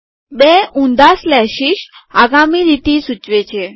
બે ઉંધા સ્લેશીસ આગામી લીટી સૂચવે છે